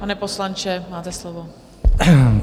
Pane poslanče, máte slovo.